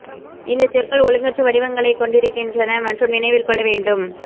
இந்தச் சொற்கள் ஒழுங்கற்ற வடிவங்களைக் கொண்டிருக்கின்றன மற்றும் நினைவில் கொள்ள வேண்டும்